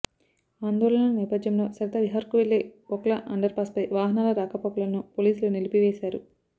ఆందోళనల నేపథ్యంలో సరితా విహార్కు వెళ్లే ఓఖ్లా అండర్పాస్పై వాహనాల రాకపోకలను పోలీసులు నిలిపివేశారు